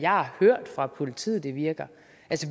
har hørt fra politiet at det virker